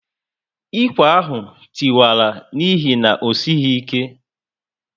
Ikwe ahụ tiwara n'ihi na osighi ike